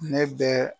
Ne bɛ